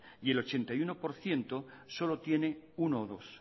y el ochenta y uno por ciento solo tiene uno o dos